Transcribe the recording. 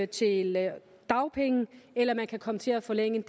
til dagpenge eller at man kan komme til at forlænge